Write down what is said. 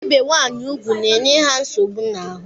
Ibe nwanyị ugwu na-enye ha nsogbu n'ahụ